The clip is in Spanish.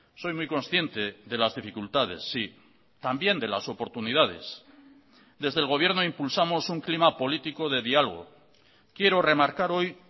soy muy consciente de las dificultades sí también de las oportunidades desde el gobierno impulsamos un clima político de diálogo quiero remarcar hoy